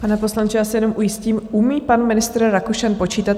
Pane poslanče, já se jenom ujistím: Umí pan ministr Rakušan počítat?